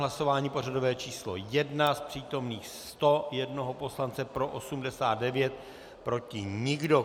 Hlasování pořadové číslo 1, z přítomných 101 poslance pro 89, proti nikdo.